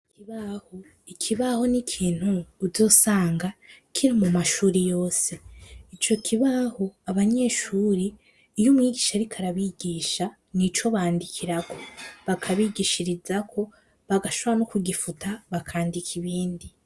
Ikibaho n'ikintu uzosanga kiri mu mashure yose. Ico kibaho, abanyeshure iyo umwigisha ariko arabigisha n'ico bandikirako, bakabigishirizako, bagashora no kugifuta, bakandika ibindi.